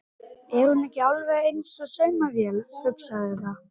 Er hún ekki alveg eins og saumavél, hugsaði það.